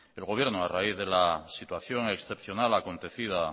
el gobierno a raíz de la situación excepcional acontecida